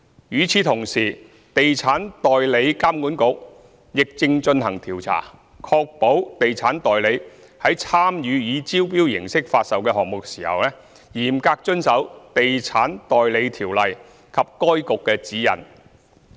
與此同時，地產代理監管局亦正進行調查，確保地產代理在參與以招標形式發售的項目時，嚴格遵守《地產代理條例》及該局的指引。